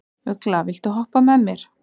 Ugla, viltu hoppa með mér?